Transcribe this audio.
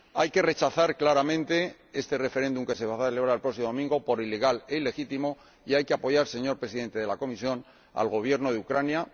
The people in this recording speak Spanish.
Hay que rechazar claramente este referéndum que se va a celebrar el próximo domingo por ilegal e ilegítimo, y hay que apoyar, señor Presidente de la Comisión, al Gobierno de Ucrania.